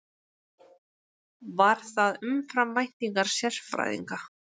Var það umfram væntingar sérfræðinga